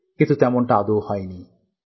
কিন্তু তেমনটা আদৌ হয়নি